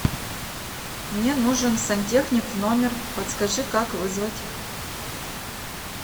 мне нужен сантехник в номер подскажи как вызвать